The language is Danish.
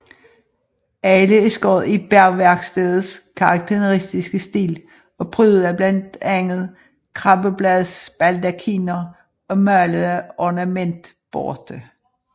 Alle er skåret i Bergværkstedets karakteristiske stil og prydet af blandt andet krabbebladsbaldakiner og malede ornamentborte